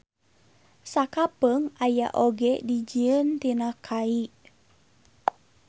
Sakapeung aya oge dijieun tina kai.